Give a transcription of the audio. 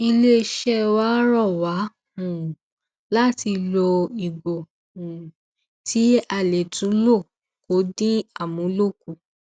alūkkóró iléeṣẹ ọlọpàá ìpínlẹ ondo fìdí ìṣẹlẹ um yìí múlẹ ọgbẹni teeleo ikorò sọ pé ìwádìí um ṣì ń tẹsíwájú